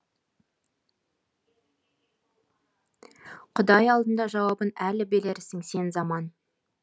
құдай алдында жауабын әлі берерсің сен заман